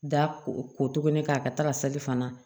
Da ko ko tuguni k'a ka taga sali fana